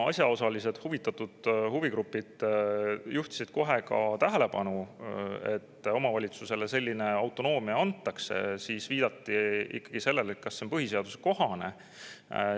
Asjaosalised huvigrupid juhtisid kohe tähelepanu, et omavalitsusele selline autonoomia antakse, ja viidati ikkagi sellele, kas see on põhiseadusekohane.